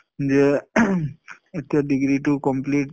যে এতিয়া degree টো complete